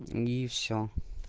и все